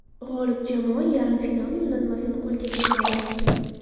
G‘olib jamoa yarim final yo‘llanmasini qo‘lga kiritadi.